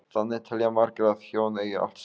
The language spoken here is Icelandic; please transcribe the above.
Þannig telja margir að hjón eigi allt saman.